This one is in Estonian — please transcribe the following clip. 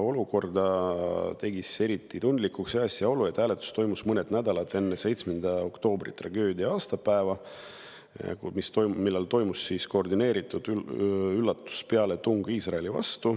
Olukorra tegi eriti tundlikuks asjaolu, et hääletus toimus mõned nädalad enne 7. oktoobri tragöödia aastapäeva: toimus koordineeritud üllatuspealetung Iisraeli vastu